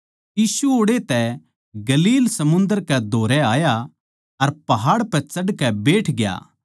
यीशु ओड़ै तै गलील समुन्दर कै धोरै आया अर पहाड़ पै चढ़कै बैठग्या